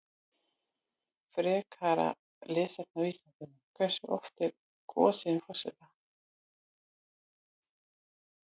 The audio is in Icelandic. Frekara lesefni á Vísindavefnum: Hversu oft er kosið um forseta?